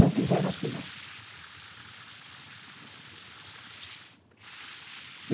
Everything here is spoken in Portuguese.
Não quiseram assinar.